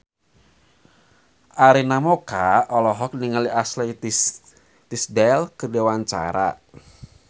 Arina Mocca olohok ningali Ashley Tisdale keur diwawancara